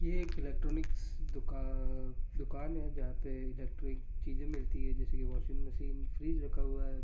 ये एक इलेक्ट्रॉनिक्स दुकान दुकान है जहां पे इलेक्ट्रिक चीज़े मिलती जैसे की वाशिंग मशीन फ्रिज रखा हुआ हैं।